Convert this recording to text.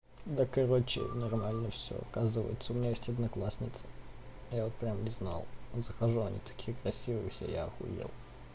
да короче нормально всё оказывается у меня есть одноклассница я вот прямо не знал захожу они такие красивые если я ахуел